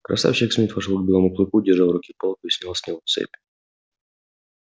красавчик смит вошёл к белому клыку держа в руке палку и снял с него цепь